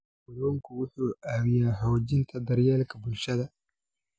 Kalluunku wuxuu caawiyaa xoojinta daryeelka bulshada.